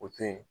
O to yen